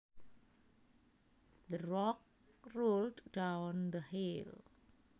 The rock rolled down the hill